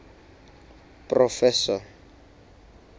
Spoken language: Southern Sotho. proffesor